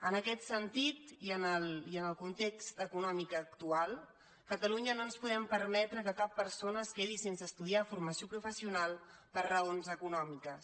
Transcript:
en aquest sentit i en el context econòmic actual ca·talunya no ens podem permetre que cap persona es quedi sense estudiar formació professional per raons econòmiques